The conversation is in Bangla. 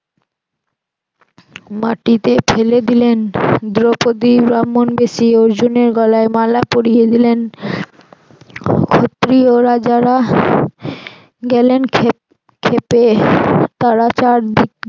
মাটিতে ফেলে দিলেন দ্রৌপদি ব্রাহ্মণবেশি অর্জুনের গলায় মালা পরিয়ে দিলেন ক্ষত্রিয় রাজারা গেলেন ক্ষেপে তারা চারদিক